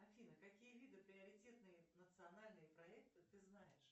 афина какие виды приоритетные национальные проекты ты знаешь